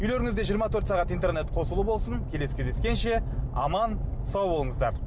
үйлеріңізде жиырма төрт сағат интернет қосулы болсын келесі кездескенше аман сау болыңыздар